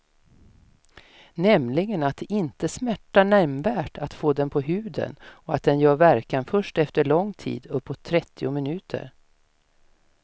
Nämligen att det inte smärtar nämnvärt att få den på huden och att den gör verkan först efter lång tid, uppåt trettio minuter.